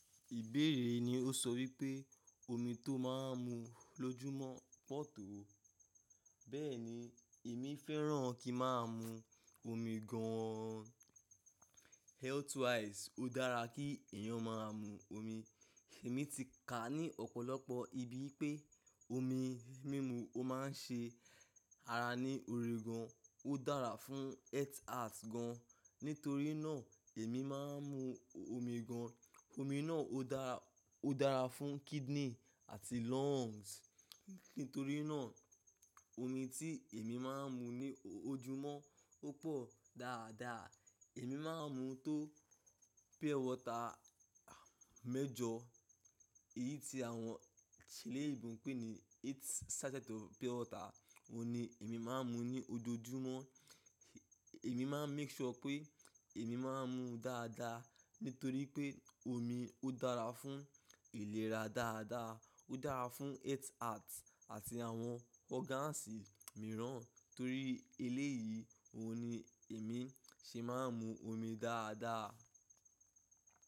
Ìbéèrè ni ó sọ wípé omi tó máa ń mu l'ojúmọ́ pọ̀ tó? Bẹ́ẹ̀ni èmi fẹ́ràn kí máa mu omi gan-an. Health wise ó dára kí èèyàn máa mu omi. Èmi ti kà ní ọ̀pọ̀lọpọ̀ ibi pé omi mímu ó máa ń ṣe ara ní òrè gan, ó dára fún heart gan. Nítorí náà èmi máa ń mu omi gan. Omi náà ó dára, ó dára fún kidney àti lungs. Nítorí náà omi tí èmi máa ń mu ní ojúmọ́ ó pọ̀ dáadáa. Èmi máa ń mu tó pure water mẹ́jọ, èyí tí àwọn ti lè ń bùn pín ní eight sachet of pure water, òun ni èmi máa ń mu ní ojoojúmọ́. Èmi máa ń make sure pé èmi máa ń mu dáadáa, nítorí pé omi ó dára fún ìlera dáadáa, ó dára fún heart gan àti àwọn organs mìíràn. Torí eléyìí òun ni èmi ṣe máa ń mu omi dáadáa.